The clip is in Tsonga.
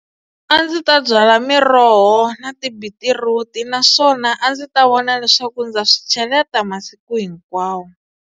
A ndzi ta byala miroho na tibitiruti naswona a ndzi ta vona leswaku ndza swi cheleta masiku hinkwawo.